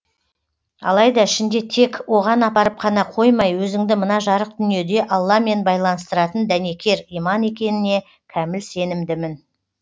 алайда ішінде тек оған апарып қана қоймай өзіңді мына жарық дүниеде алламен байланыстыратын дәнекер иман екенініне кәміл сенімдімін